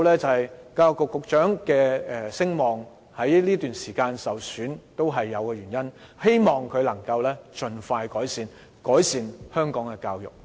所以，教育局局長的聲望在這段時間受損也是有其原因的，希望他能盡快改善香港的教育。